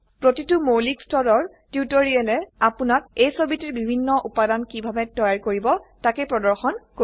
প্ৰতিটো মৌলিক স্তৰৰ টিউটোৰিয়েলে আপোনাক এই ছবিটিৰ বিভিন্ন উপাদান কিভাবে তৈয়াৰ কৰিব তাকে প্ৰৰ্দশন কৰিব